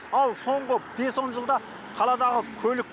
ал соңғы бес он жылда қаладағы көлік